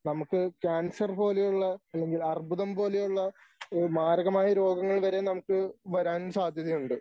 നമുക്ക് ക്യാൻസർ പോലെയുള്ള അല്ലെങ്കിൽ അർബുദം പോലെയുള്ള ഈ മാരകമായ രോഗങ്ങൾ വരെ നമുക്ക് വരാൻ സാധ്യതയുണ്ട്.